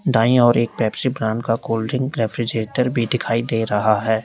दाई और एक Pepsi brand का कोल्ड ड्रिंक रेफ्रिजरेटर भी दिखाई दे रहा है।